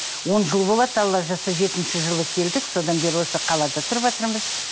он жыл болады алла жазса жетінші жылы келдік содан бері осы қалада тұрватырмыз